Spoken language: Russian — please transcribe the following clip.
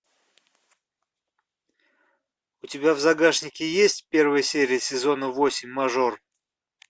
у тебя в загашнике есть первая серия сезона восемь мажор